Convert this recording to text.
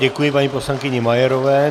Děkuji paní poslankyni Majerové.